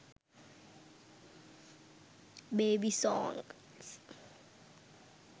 baby songs